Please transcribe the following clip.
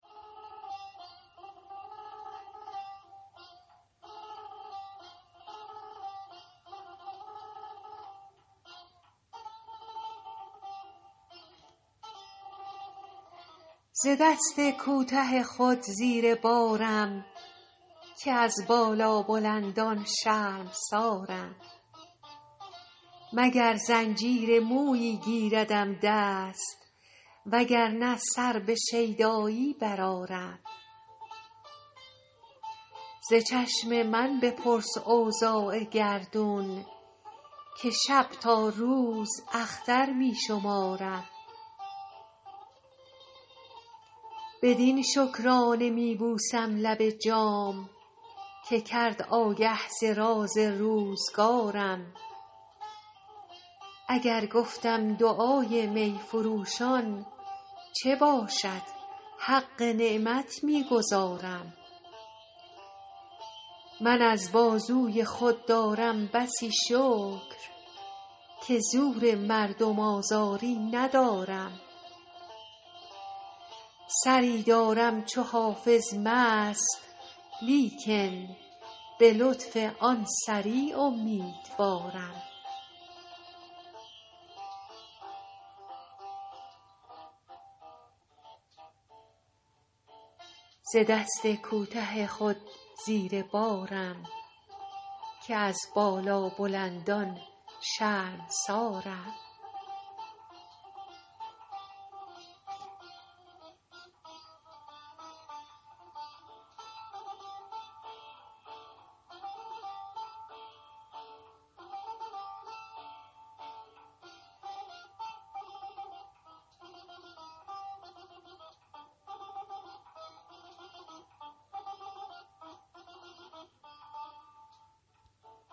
ز دست کوته خود زیر بارم که از بالابلندان شرمسارم مگر زنجیر مویی گیردم دست وگر نه سر به شیدایی برآرم ز چشم من بپرس اوضاع گردون که شب تا روز اختر می شمارم بدین شکرانه می بوسم لب جام که کرد آگه ز راز روزگارم اگر گفتم دعای می فروشان چه باشد حق نعمت می گزارم من از بازوی خود دارم بسی شکر که زور مردم آزاری ندارم سری دارم چو حافظ مست لیکن به لطف آن سری امیدوارم